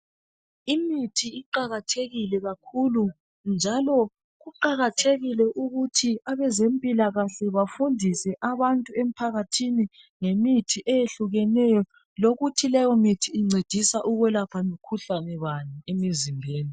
Imithi iqakathekile kakhulu njalo kuqakathekile ukuthi abazempilakahle bafundise abantu empakathini ngemithi eyehlukeneyo lokuthi leyomithi incedisa ukwelapha mkhuhlane bani emzimbeni